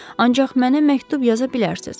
Ancaq mənə məktub yaza bilərsiniz.